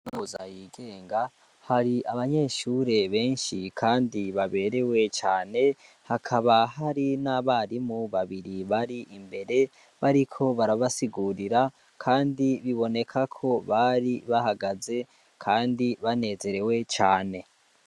Noza yigenga hari abanyeshure benshi, kandi baberewe cane hakaba hari n'abarimu babiri bari imbere bariko barabasigurira, kandi biboneka ko bari bahagaze, kandi banezerewe cane.